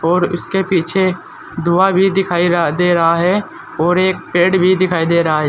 और इसके पीछे धुआं भी दिखाई दे रहा है और एक पेड़ भी दिखाई दे रहा है।